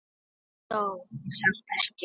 Hann dó samt ekki.